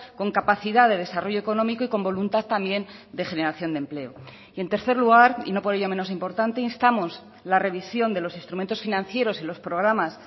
con capacidad de desarrollo económico y con voluntad también de generación de empleo y en tercer lugar y no por ello menos importante instamos la revisión de los instrumentos financieros y los programas